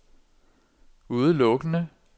udelukkende